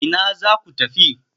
Ina za ku tafi?